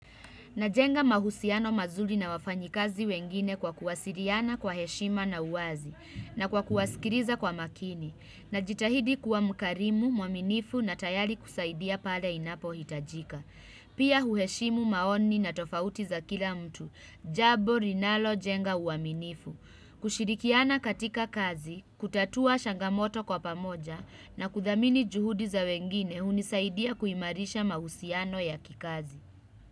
Najenga mahusiano mazuri na wafanyikazi wengine kwa kuwasiliana kwa heshima na uwazi na kwa kuwasikiliza kwa makini. Najitahidi kuwa mkarimu, mwaminifu na tayari kusaidia pale inapohitajika. Pia huheshimu maoni na tofauti za kila mtu, jambo linalojenga uaminifu, kushirikiana katika kazi, kutatua changamoto kwa pamoja na kudhamini juhudi za wengine hunisaidia kuimarisha mahusiano ya kikazi.